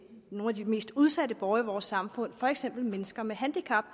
nogle af de mest udsatte borgere i vores samfund for eksempel mennesker med handicap